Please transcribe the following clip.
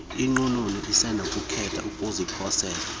inqununu isenokukhetha ukuziposela